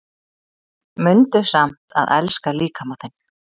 Mundu samt að elska líkama þinn